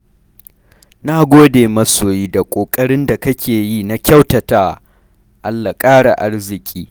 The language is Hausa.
Na gode masoyi da ƙoƙarin da kake yi na kyautatawa, Allah ƙara arziƙi.